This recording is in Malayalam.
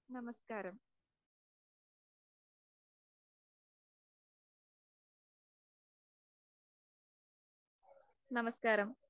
നമസ്‌കാരം, നമസ്‌കാരം